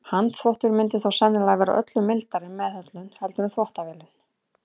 Handþvottur myndi þó sennilega vera öllu mildari meðhöndlun heldur en þvottavélin.